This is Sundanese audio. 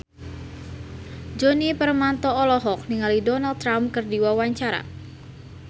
Djoni Permato olohok ningali Donald Trump keur diwawancara